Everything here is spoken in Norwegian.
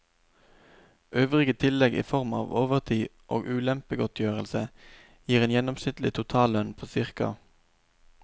Øvrige tillegg i form av overtid og ulempegodtgjørelse gir en gjennomsnittlig totallønn på ca.